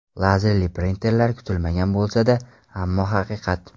Lazerli printerlar Kutilmagan bo‘lsa-da, ammo haqiqat.